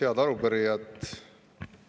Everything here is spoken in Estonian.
Head arupärijad!